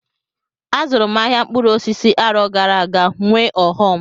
Azụrụ m ahịa mkpụrụ osisi arọ gara aga nwee ọghọm.